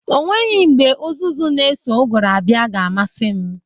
O nweghi mgbe ụzụzu n'eso ụgụrụ abịa ga-amasị m.